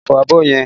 Lọ fọ abọ́ yẹn!